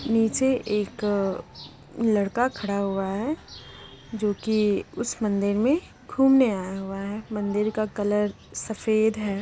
नीचे एक लड़का खड़ा हुआ है जो कि उस मंदिर में घूमने आया हुआ है। मंदिर का कलर सफेद है।